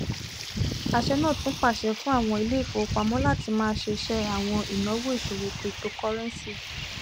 àṣẹ náà tún pàṣẹ fún àwọn iléifowopamọ láti má ṣe ṣe àwọn ìnáwó ìṣòwò cryptocurrency